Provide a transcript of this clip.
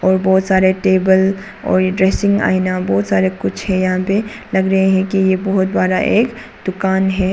बहुत सारे टेबल और इंटरेस्टिंग आईना बहुत सारे कुछ है यहां पे लग रहे हैं कि यह बहुत बड़ा एक दुकान है।